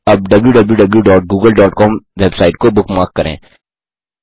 अब wwwgooglecom website को bookmark करें